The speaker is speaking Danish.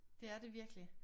Det er det virkelig